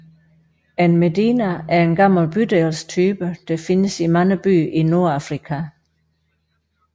En medina er en gammel bydelstype der findes i mange byer i Nordafrika